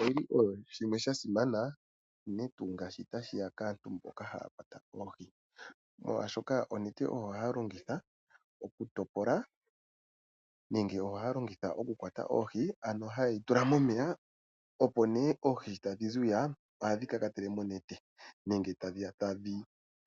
Onete oshinima sha simana unene tuu kaantu mbono haya kwata oohi oshoka oyo haya longitha okukwata oohi. Onete ohaye dhitula momeya nuuna oohi tadhi tondoka tadhi zi hwiya ohadhi